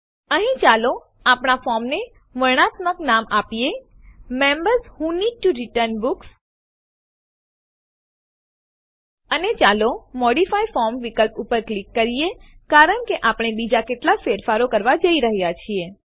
અહીં ચાલો આપણા ફોર્મને વર્ણનાત્મક નામ આપીએ members who need to return books અને ચાલો મોડિફાય ફોર્મ વિકલ્પ ઉપર ક્લિક કરીએ કારણ કે આપણે બીજા કેટલાક ફેરફારો કરવા જઈ રહ્યા છીએ